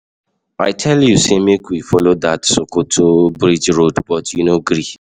I tell you say make we follow dat Sokoto bridge road but you no gree.